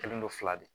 Kɛlen don fila de